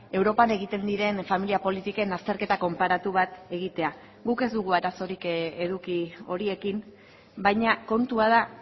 europan egiten diren familia politiken azterketa konparatu bat egitea guk ez dugu arazorik eduki horiekin baina kontua da